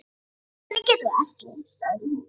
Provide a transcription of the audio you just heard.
Hver getur það ekki? sagði hún.